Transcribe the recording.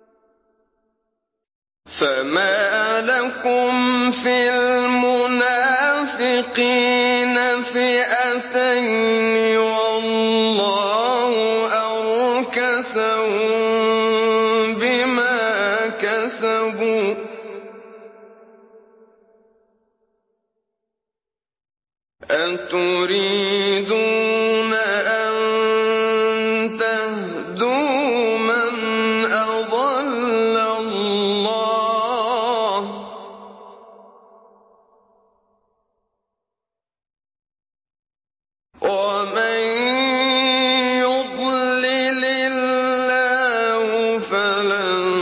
۞ فَمَا لَكُمْ فِي الْمُنَافِقِينَ فِئَتَيْنِ وَاللَّهُ أَرْكَسَهُم بِمَا كَسَبُوا ۚ أَتُرِيدُونَ أَن تَهْدُوا مَنْ أَضَلَّ اللَّهُ ۖ وَمَن يُضْلِلِ اللَّهُ فَلَن